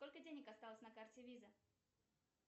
сколько денег осталось на карте виза